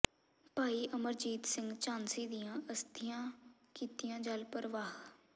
ਭਾਈ ਅਮਰਜੀਤ ਸਿੰਘ ਝਾਂਸੀ ਦੀਆਂ ਅਸਥੀਆਂ ਕੀਤੀਆਂ ਜਲ ਪ੍ਰਵਾਹ